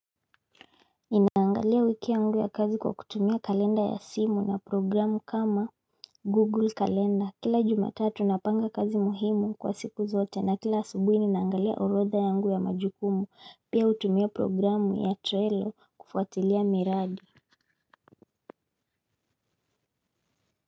Ninaangalia wiki yangu ya kazi kwa kutumia kalenda ya simu na programu kama Google Calendar. Kila Jumatatu napanga kazi muhimu kwa siku zote na kila asubuhi ninaangalia orodha yangu ya majukumu. Pia hutumia programu ya Trelo kufuatilia miradi.